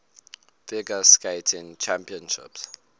figure skating championships